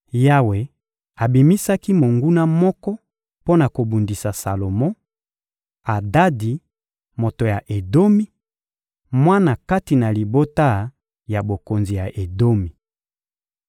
Yawe abimisaki monguna moko mpo na kobundisa Salomo: Adadi, moto ya Edomi, mwana kati na libota ya bokonzi ya Edomi.